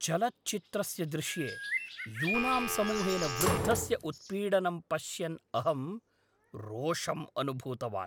चलच्चित्रस्य दृश्ये यूनां समूहेन वृद्धस्य उत्पीडनं पश्यन् अहं रोषम् अनुभूतवान्।